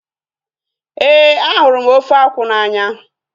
Éè, a hụrụ ofe akwụ n'anya